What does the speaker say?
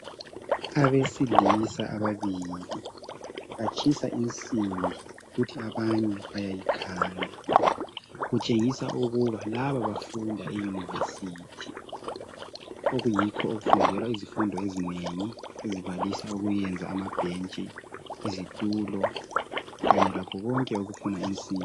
abesilisa ababili batshisa insimbi kuthi abanye bayayikhanda kutshengisa ukuba laba bafunda e university okuyikho okufundelwa izifundo ezinengi ezibalisa ukuyenza amabhentshi izitulo kanye lakho konke okufuna insimbi